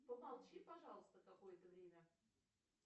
помолчи пожалуйста какое то время